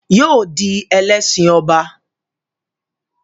Yóò di Ẹlẹ́ṣin ọba